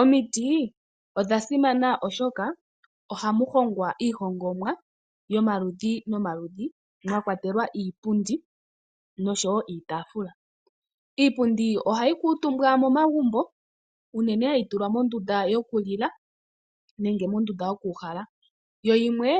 Omiti odha simana oshoka ohamu hongwa iihongomwa yomaludhi nomaludhi mwa kwatelwa iipundi noshowo iitaafula. Iipundi ohayi kuutumbwa momagumbo unene hayi tulwa mondunda yokulila nenge mondunda yokuuhala, Yo yimwe